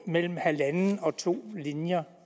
mellem halvanden og to linjer